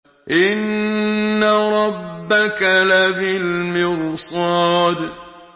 إِنَّ رَبَّكَ لَبِالْمِرْصَادِ